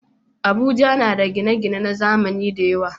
Abuja na da gine-gine na zamani da yawa.